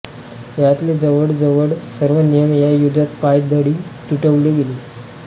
यातले जवळ जवळ सर्व नियम या युद्धात पायदळी तुडवले गेले